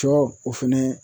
Cɔ o fɛnɛ